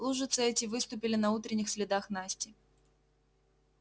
лужицы эти выступили на утренних следах насти